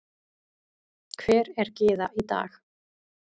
Hver er Gyða í dag?